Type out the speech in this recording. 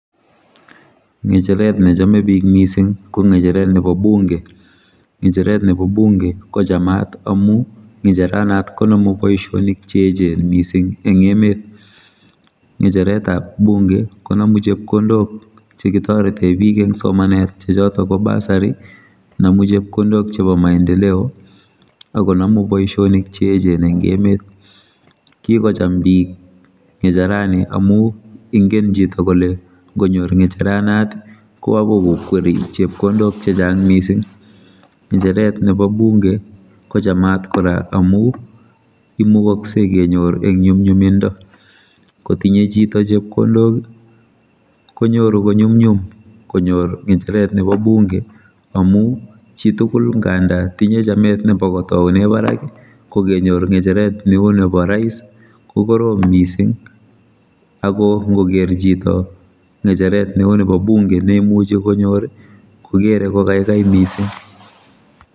Ngecheret nechome bik mising ko ngecheret nebo bunge ngecheret nebo bunge kochamat amu ngecheranot konomu boisionik cheechen mising eng emet. Ngecheretab bunge konomu chepkondok chekitorete bik eng somanet chechotok ko bursary nomu chepkondok chebo maendeleo akonomu boisionik chechen eng emet kikochambik ngecherani amu ngen chitugul ngonam ngecheronot kokakoikokweri chepkondok chechang mising ngecheret nebo bunge kochamat kora amu imugoksei kenyor eng nyumnyumindo kotinye chito chepkondok konyoru konyumnyum konyor ngecheret nebo bunge amu chitugul nganda tinye chamet nebo kotoune barak ko kenyor ngecheret neu nebo rais kokorom mising akongoker chito ngecheret neu nebo bunge neimuch konyor kokere kokaikai mising.